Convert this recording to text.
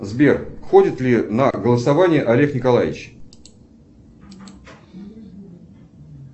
сбер ходит ли на голосование олег николаевич